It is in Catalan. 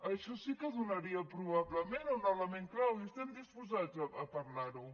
això sí que donaria probablement un element clau i estem disposats a parlar ho